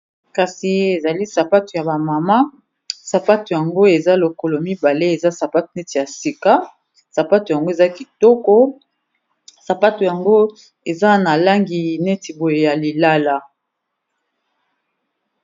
Kasi ezali sapato ya ba mama sapato yango eza lokolo mibale eza sapato neti ya sika sapato yango eza kitoko sapato yango eza na langi neti boye ya lilala.